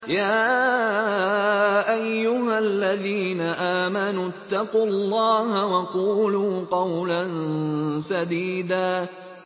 يَا أَيُّهَا الَّذِينَ آمَنُوا اتَّقُوا اللَّهَ وَقُولُوا قَوْلًا سَدِيدًا